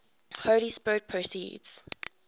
holy spirit proceeds